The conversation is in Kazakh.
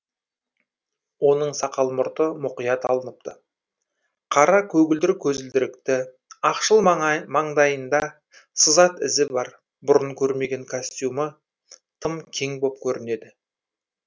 оның сақал мұрты мұқият алыныпты қара көгілдір көзілдірікті ақшыл маңдайында сызат ізі бар бұрын көрмеген костюмі тым кең боп көрінеді